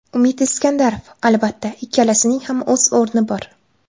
Umid Iskandarov: Albatta, ikkalasining ham o‘z o‘rni bor.